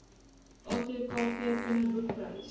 atkv kinderboek prys